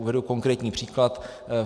Uvedu konkrétní příklad.